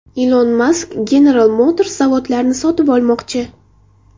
Ilon Mask General Motors zavodlarini sotib olmoqchi.